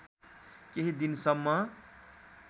केही दिन सम्म